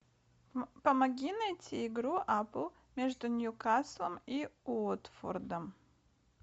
помоги найти игру апл между ньюкаслом и уотфордом